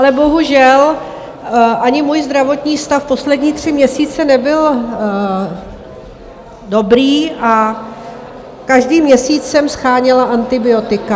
Ale bohužel ani můj zdravotní stav poslední tři měsíce nebyl dobrý a každý měsíc jsem sháněla antibiotika.